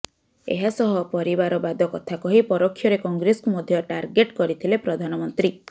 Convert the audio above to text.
ଏହାସହ ପରିବାରବାଦ କଥା କହି ପରୋକ୍ଷରେ କଂଗ୍ରେସକୁ ମଧ୍ୟ ଟାର୍ଗେଟ କରିଥିଲେ ପ୍ରଧାନମନ୍ତ୍ରୀ